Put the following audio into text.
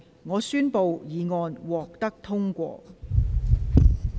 我宣布議案獲得通過。